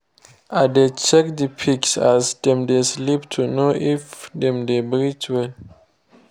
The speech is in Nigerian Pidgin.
i dey check the pigs as dem dey sleep to know if dem dey breathe well